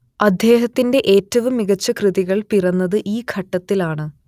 അദ്ദേഹത്തിന്റെ ഏറ്റവും മികച്ച കൃതികൾ പിറന്നത് ഈ ഘട്ടത്തിലാണ്